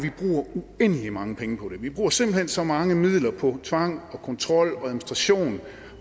uendelig mange penge på dem vi bruger simpelt hen så mange midler på tvang kontrol og administration